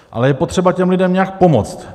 Ale je potřeba těm lidem nějak pomoct.